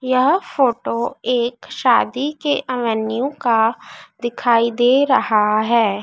यह फोटो एक शादी के का दिखाई दे रहा है।